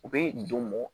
U bɛ don mɔ